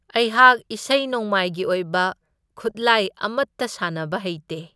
ꯑꯩꯍꯥꯛ ꯏꯁꯩ ꯅꯣꯡꯃꯥꯏꯒꯤ ꯑꯣꯏꯕ ꯈꯨꯠꯂꯥꯏ ꯑꯃꯠꯇ ꯁꯥꯟꯅꯕ ꯍꯩꯇꯦ꯫